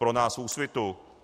Pro nás v Úsvitu.